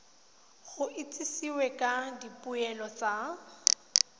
go itsisiwe ka dipoelo tsa